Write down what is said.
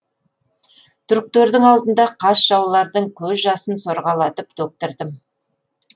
түріктердің алдында қас жаулардың көз жасын сорғалатып төктірдім